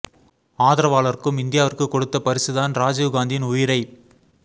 ஆதரவாளர்க்ழும் இந்தியாவிற்கு கொடுத்த் பரிசுதான் ரஜீவ் காந்தியின் உயிரைப்